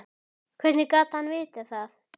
Hvernig gat hann vitað það.